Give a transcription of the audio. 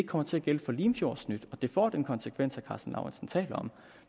kommer til at gælde for limfjordsnyt og at det får den konsekvens karsten lauritzen taler om